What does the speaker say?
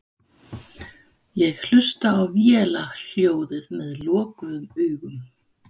Ég hlusta á vélarhljóðið með lokuðum augum.